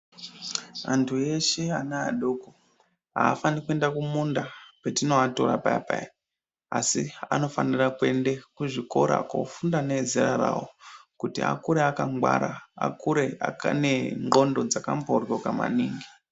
Anthu eshe ana adoko aafaniri kuenda kumunda petinoatora payapaya asi anofanira kuende kuzvikora koofunda neezera rawo kuti akure akangwara akure ane ndxondo dzakamboryoka maningi.